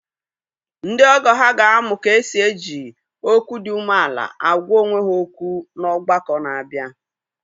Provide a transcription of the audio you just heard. Ndị ọgọ ha ga-amụ ka e si eji okwu dị umeala agwa onwe ha okwu n’ọgbakọ na-abịa.